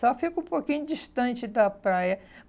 Só fico um pouquinho distante da praia.